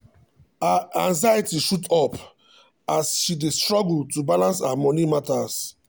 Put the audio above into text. her anxiety shoot up as um she dey struggle to balance her money matters.